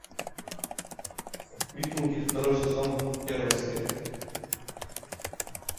викинги второй сезон первая серия